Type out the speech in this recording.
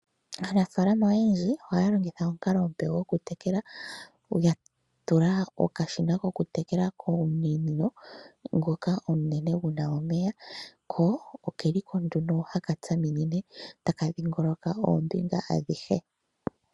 Aanafaalama oyendji ohaya longitha omukalo omupe gwokutekela, ya tula okashina kokutekela komunino ngoka omunene gu na omeya, ko oke li ko nduno haka shaminine taka dhingoloka oombinga adhihe